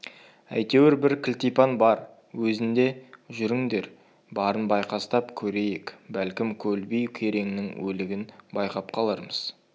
әйтеуір бір кілтипан бар өзінде жүріңдер барын байқастап көрейік бәлкім көлбай кереңнің өлігін байқап қалармыз